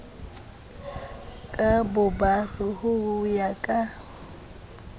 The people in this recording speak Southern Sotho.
ka bobare ho ya ka